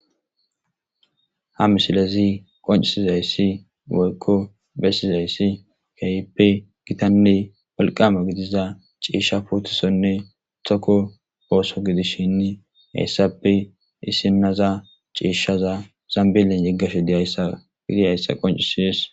ha misilezi qoncisizayssi woykko bessizayssi keehippe gitanne walqama gidiza ciishsha puutisonne tokko ooso gidishinni heyssappe isinaza ciishshaza zambilen yeggashe dizaysa qoncisides